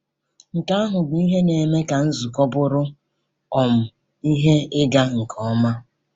Nke ahụ bụ ihe na-eme ka nzukọ bụrụ um ihe ịga nke ọma.